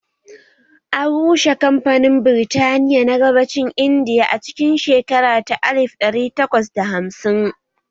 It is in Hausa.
An rushe kamfanin Birtaniya na gabacin Indiya a cikin shekara ta alif ɗari takwas da hamsin